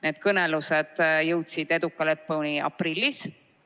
Need kõnelused jõudsid eduka lõpuni aprillis.